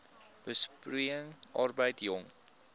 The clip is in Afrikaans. besproeiing arbeid jong